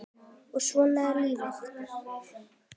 En svona er lífið.